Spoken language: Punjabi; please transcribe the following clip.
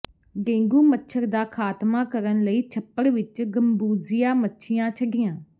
ਡੇਂਗੂ ਮੱਛਰ ਦਾ ਖ਼ਾਤਮਾ ਕਰਨ ਲਈ ਛੱਪੜ ਵਿਚ ਗੰਬੂਜੀਆ ਮੱਛੀਆਂ ਛੱਡੀਆਂ